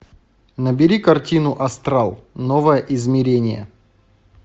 набери картину астрал новое измерение